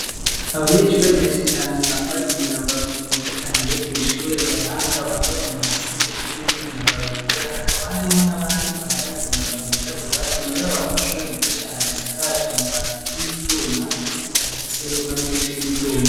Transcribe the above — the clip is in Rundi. Abanyeshure benshi cane bambay'imyambaro myiza cane yo kwishure ibaranga bambay'imyambar'isa n'ubururu niyindi myambaro yera hakaba harimwo n'abandi bambay'imyambaro yirabura inyuma yabo harih'amashure meza cane asakaj'amabati y'ivyuma ndetse akabab'afise n'amadirisha y'ivyuma